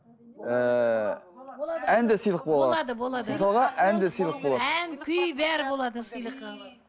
ііі ән де сыйлық бола алады ән күй бәрі болады сыйлыққа